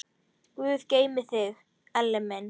Guð geymi þig, Elli minn.